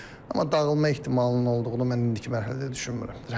Amma dağılmaq ehtimalının olduğunu mən indiki mərhələdə düşünmürəm.